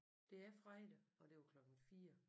Det er fredag og det var klokken 4